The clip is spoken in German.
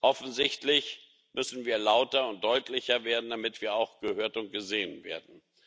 Offensichtlich müssen wir lauter und deutlicher werden, damit wir auch gehört und gesehen werden.